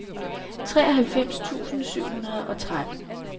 treoghalvfems tusind syv hundrede og tretten